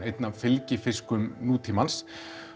einn af fylgifiskum nútímans